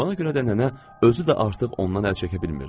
Ona görə də nənə özü də artıq ondan əl çəkə bilmirdi.